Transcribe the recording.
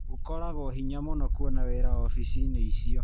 Gũkoragwo hinya mũno kuona wĩra ofici-inĩ icio.